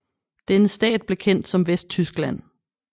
Denne stat blev kendt som Vesttyskland